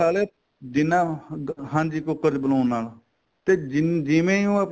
ਖਾਲਿਆ ਜਿੰਨਾ ਹਾਂਜੀ ਕੂਕਰ ਚ ਬਣਾਉਣ ਨਾਲ ਤੇ ਜਿਨ ਜਿਵੇਂ ਹੁਣ